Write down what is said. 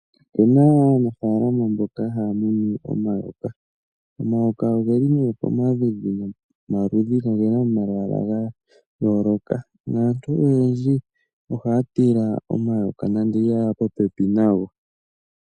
Opuna aanafaalama mboka haya munu omayoka. Omayoka ogeli nee pamaludhi nomaludhi nogena omalwaala gayooloka naantu oyendji ohaya tila omayoka nando iha yeya popepi nago.